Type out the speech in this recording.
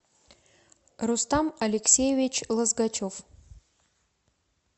рустам алексеевич лозгачев